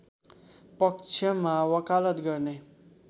पक्षमा वकालत गर्ने